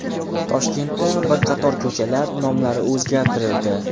Toshkentda bir qator ko‘chalar nomlari o‘zgartirildi.